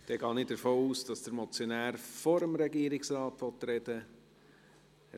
Dann gehe ich davon aus, dass der Motionär vor dem Regierungsrat sprechen will.